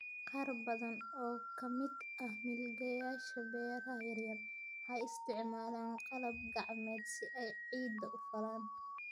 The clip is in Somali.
Qaar badan oo ka mid ah milkiilayaasha beeraha yaryar waxay isticmaalaan qalab gacmeed si ay ciidda u falaan.